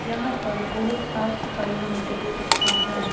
यहां पर बहोत साफ सफाई हम देख सकते हैं।